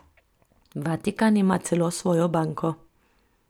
Vatikan ima celo svojo banko.